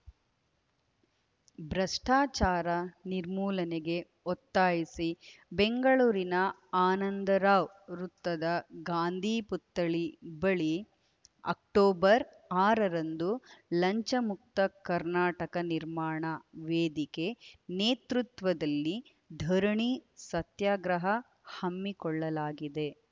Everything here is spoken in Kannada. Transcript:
ಭ್ರಷ್ಟಾಚಾರ ನಿರ್ಮೂಲನೆಗೆ ಒತ್ತಾಯಿಸಿ ಬೆಂಗಳೂರಿನ ಆನಂದರಾವ್‌ ವೃತ್ತದ ಗಾಂಧಿ ಪುತ್ಥಳಿ ಬಳಿ ಅಕ್ಟೋಬರ್ ಆರರಂದು ಲಂಚಮುಕ್ತ ಕರ್ನಾಟಕ ನಿರ್ಮಾಣ ವೇದಿಕೆ ನೇತೃತ್ವದಲ್ಲಿ ಧರಣಿ ಸತ್ಯಾಗ್ರಹ ಹಮ್ಮಿಕೊಳ್ಳಲಾಗಿದೆ